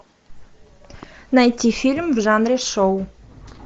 найти фильм в жанре шоу